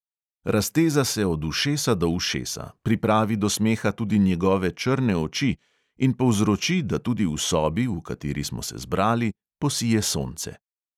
Razteza se od ušesa do ušesa, pripravi do smeha tudi njegove črne oči in povzroči, da tudi v sobi, v kateri smo se zbrali, posije sonce.